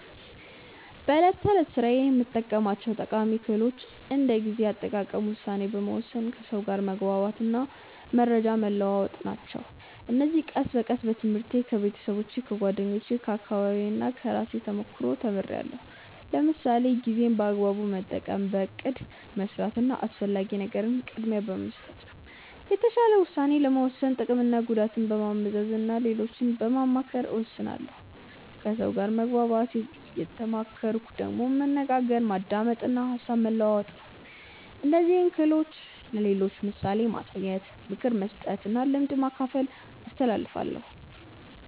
በዕለት ተዕለት ሥራዬ የምጠቀማቸው ጠቃሚ ክህሎቶች እንደ ጊዜ አጠቃቀም፣ ውሳኔ መወሰን፣ ከሰው ጋር መግባባት እና መረጃ መለዋወጥ ናቸው። እነዚህን ቀስ በቀስ በትምህርት፣ ከቤተሰብ፣ ከጓደኞቼ፣ ከአካባቢዬ እና ከራሴ ተሞክሮ ተምርያለሁ። ለምሳሌ ጊዜን በአግባቡ መጠቀም በእቅድ መስራት እና አስፈላጊ ነገርን ቅድሚያ በመስጠት ነው። የተሻለ ውሳኔ ለመወሰን ጥቅምና ጉዳትን በማመዛዘን እና ሌሎችን በማማከር እወስናለሁ ከሰው ጋር መግባባት የተማርኩት ደግሞ በመነጋገር፣ በማዳመጥ እና ሀሳብ በመለዋወጥ ነው። እነዚህን ክህሎቶች ለሌሎች በምሳሌ በማሳየት፣ ምክር በመስጠት እና ልምድ በማካፈል አስተላልፋለሁ።